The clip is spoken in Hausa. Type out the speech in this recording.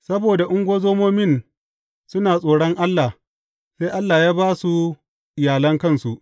Saboda ungozomomin suna tsoron Allah, sai Allah ya ba su iyalan kansu.